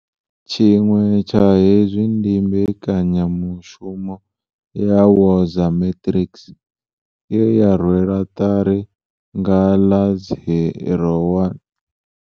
Tshiṅwe tsha hezwi ndi mbekanyamushumo ya Woza Matrics, ye ya rwelwa ṱari nga ḽa 01